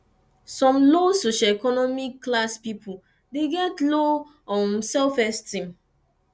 some low socioeconomic class pipo de get low um self esteem